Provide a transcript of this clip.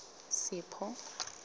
sipho